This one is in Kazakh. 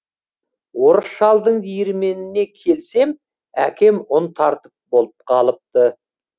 орыс шалдың диірменіне келсем әкем ұн тартып болып қалыпты